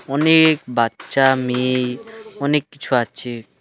অনেক বাচ্চা মেয়ে অনেক কিছু আছে।